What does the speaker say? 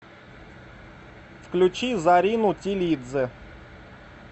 включи зарину тилидзе